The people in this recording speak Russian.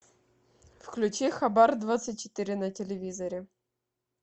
включи хабар двадцать четыре на телевизоре